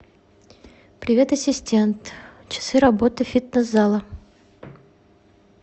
привет ассистент часы работы фитнес зала